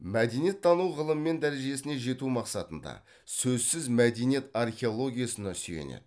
мәдениеттану ғылым мен дәрежесіне жету мақсатында сөзсіз мәдениет археологиясына сүйенеді